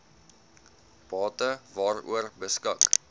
bate waaroor beskik